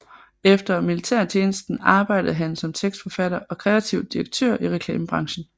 Efter militærtjenesten arbejdede han som tekstforfatter og kreativ direktør i reklamebranchen